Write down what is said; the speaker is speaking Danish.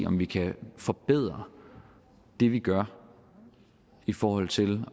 om vi kan forbedre det vi gør i forhold til